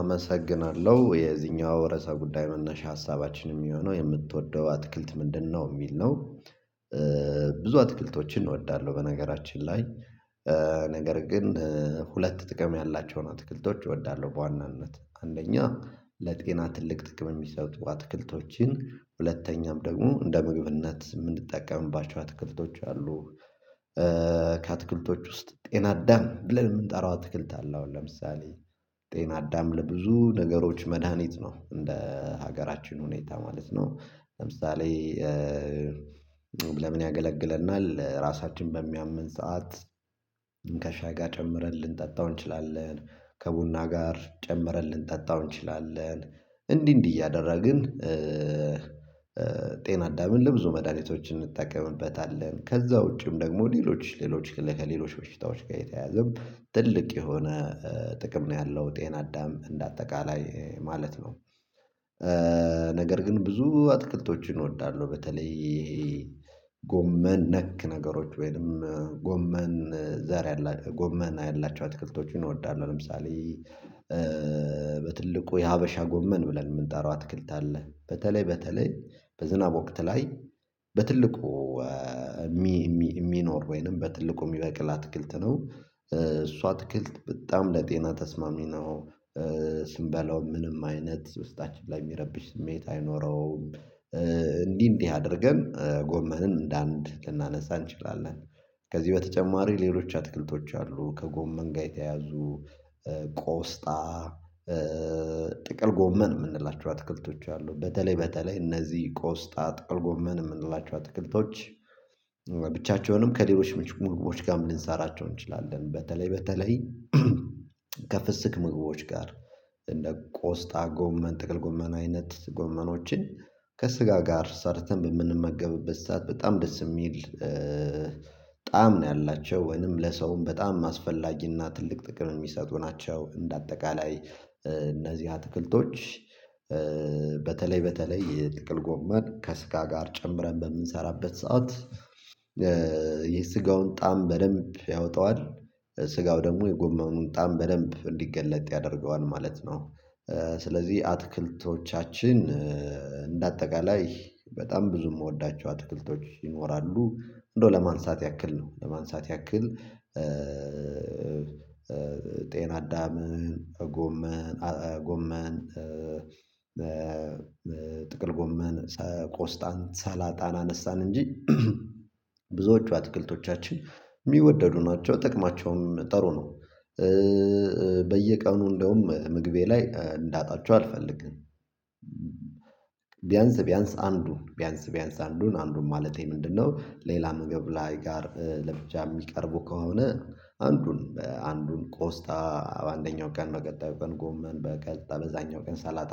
አመሰግናለሁ የዚህኛው ርዕሰ ጉዳይ መነሻ ሀሳባችን የሚሆነው የምትወደው አትክልት ምንድነው የሚል ነው? ብዙ አትክልቶችን እወዳለሁ። በነገራችን ላይ። ነገር ግን ሁለት ጥቅም ያላቸውን አትክልቶች እወዳለሁ በዋናነት አንደኛ ለጤና ትልቅ ጥቅም የሚሰጡ አትክልቶችን ሁለተኛም ደግሞ እንደ ምግብነት የምንጠቀምባቸው አትክልቶች አሉ። ከአትክልቶች ውስጥ ጤና አዳም ብለን የምንጠራው አትክልት አለ። አሁን ለምሳሌ ጤና አዳም ለብዙ ነገሮች መድሃኒት ነው። እንደ ሀገራችን ሁኔታ ማለት ነው። ለምሳሌ ለምን ያገለግለናል? ለራሳችን በሚያመን ሰዓት ከሻይ ጋር ጨምረን ልንጠጣው እንችላለን ከቡና ጋር ጨምረን ልንጠጣው እንችላለን። እንዲህ እንዲህ እያደረግን ጤና አዳምን ለብዙ መድኃኒቶች እንጠቀምበታለን። ከዛ ውጪም ደግሞ ሌሎች ሌሎች ከሌሎች በሽታዎች ጋር የተያዘም ትልቅ የሆነ ጥቅም ነው ያለው ጤና አዳም እንደ አጠቃላይ ማለት ነው። ነገር ግን ብዙ አትክልቶችን እወዳለሁ። በተለይ ይሄ ጎመን ነክ ነገሮች ወይንም ጎመን ዛር ጎመን ያላቸው አትክልቶችን እወዳለው። ለምሳሌ በትልቁ የሀበሻ ጎመን ብለን የምንጠራው አትክልት አለ። በተለይ በተለይ በዝናብ ወቅት ላይ በትልቁ የሚኖር ወይንም በትልቁ የሚበቅል አትክልት ነው። እሱ አትክልት በጣም ለጤና ተስማሚ ነው። ስንበላው ምንም አይነት ውስጣችን ላይ የሚረብሽ ስሜት አይኖረውም። እንዲህ እንዲህ አድርገን ጎመንን እንደ አንድ ልናነሳ እንችላለን። ከዚህ በተጨማሪ ሌሎች አትክልቶች አሉ። ከጎመን ጋር የተያዙ ቆስጣ ጥቅል ጎመን የምንላቸው አትክልቶች አሉ። በተለይ በተለይ እነዚህ ቆስጣ ጥቅል ጎመን የምንላቸው አትክልቶች ብቻቸውንም ከሌሎች ምግቦች ጋርምልንሰራቸው እንችላለን። በተለይ በተለይ ከፍስክ ምግቦች ጋር እንደ ቆስጣ ጎመን ጠቅል ጎመን አይነት ጎመኖችን ከስጋ ጋር ሰርተን በምንመገብበት ሰዓት በጣም ደስ የሚል ጣዕም ነው ያላቸው ወይንም ለሰውም በጣም አስፈላጊና ትልቅ ጥቅም የሚሰጡ ናቸው። እንደ አጠቃላይ እነዚህ አትክልቶች በተለይ በተለይ የጥቅል ጎመን ከስጋ ጋር ጨምረን በምንሰራበት ሰዓት የስጋውን ጣዕም በደንብ ያወጣዋል። ስጋው ደግሞ የጎመኑን ጣዕም በደንብ እንዲገለጥ ያደርገዋል ማለት ነው። ስለዚህ አትክልቶቻችን እንደ አጠቃላይ በጣም ብዙ የምወዳቸው አትክልቶች ይኖራሉ። እንደው ለማንሳት ያክል ነው ለማንሳት ያክል። ጤናዳም ጎመን ጎመን ጥቅል ጎመን ቆስጣን ሰላጣን አነሳን እንጂ ብዙዎቹ አትክልቶቻችን ምወደዱ ናቸው ጠቅማቸውም ጥሩ ነው። በየቀኑ እንደውም ምግቤ ላይ እንዳጣቸሁ አልፈልግም። ቢያንስ ቢያንስ አንዱ ቢያንስ ቢያንስ አንዱን አንዱን ማለቴ ምንድነው? ሌላ ምግብ ላይ ጋር ለብቻ የሚቀርቡ ከሆነ አንዱን አንዱን ቆስጣ በአንደኛው ቀን በቀጣዩ ቀን ጎመን በቀጣዩ በዛኛው ቀን ሳላጣ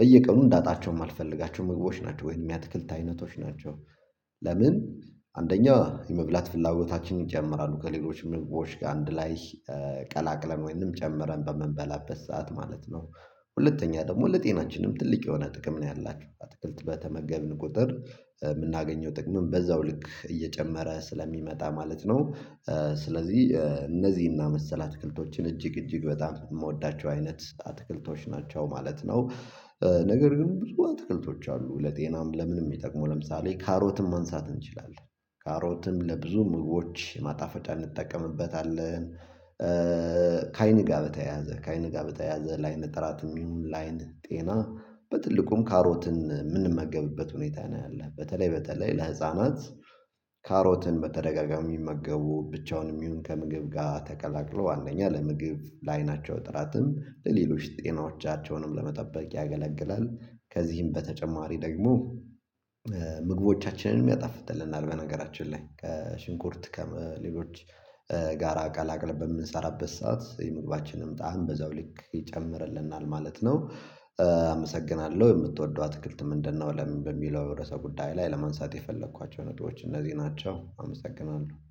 በየቀኑ እንዳጣቸውም መልፈልጋቸው ምግቦች ናቸው ወይንም የአትክልት አይነቶች ናቸው። ለምን? አንደኛው የመብላት ፍላጎታችን ይጨምራሉ ከሌሎች ምግቦች ጋር አንድ ላይ ቀላቅለን ወይንም ጨምረን በምንበላበት ሰዓት ማለት ነው። ሁለተኛ ደግሞ ለጤናችንም ትልቅ የሆነ ጥቅም ነው ያላችሁ አትክልት በተመገብን ቁጥር የምናገኘው ጥቅምም በዛው ልክ እየጨመረ ስለሚመጣ ማለት ነው። ስለዚህ እነዚህና መሰል አትክልቶችን እጅግ እጅግ በጣም የምወዳቸው አይነት አትክልቶች ናቸው ማለት ነው። ነገር ግን ብዙ አትክልቶች አሉ ለጤናም ለምንም የሚጠቅመው ለምሳሌ ካሮትም ማንሳት እንችላለን። ካሮትም ለብዙ ምግቦች ማጣፈጫ እንጠቀምበታለን። ከአይን ጋር በተያያዘ ከአይን ጋር በተያያዘ ላይን ጥራትም ይሁን ላአይን ጤና በትልቁም ካሮትን የምንመገብበት ሁኔታ ነው ያለው። በተለይ በተለይ ለህፃናት ካሮትን በተደጋጋሚ የሚመገቡ ብቻውን የሚሆን ከምግብ ጋር ተቀላቅሎ ዋናኛ ለምግብ ለአይናቸው ጥራትም ለሌሎች ጤናዎቻቸውንም ለመጠበቅ ያገለግላል። ከዚህም በተጨማሪ ደግሞ ምግቦቻችንን ያጣፍጥልናል በነገራችን ላይ ከሽንኩርት ከሌሎች ጋራ ቀላቅለል በምንሰራበት ሰዓት የምግባችንም ጣዕም በዛው ልክ ይጨምርልናል ማለት ነው። አመሰግናለሁ የምትወደው አትክልት ምንድነው? ለምን በሚለው የረዕሰ ጉዳይ ላይ ለመንሳት የፈለኳቸውን ነጥቦች እነዚህ ናቸው። አመሰግናለሁ